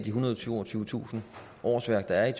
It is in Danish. ethundrede og toogtyvetusind årsværk der er